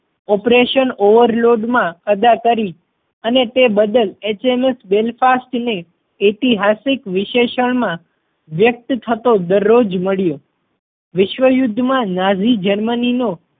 operation overload માં અદા કરી અને તે બદલ HMS Belfast ને ઐતિહાસિક વિશેષણ માં વ્યક્ત થતો દરજ્જો મળ્યો. વિશ્વ યુદ્ધ માં નાઝી જર્મની નો